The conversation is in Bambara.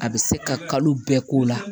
A bɛ se ka kalo bɛɛ k'o la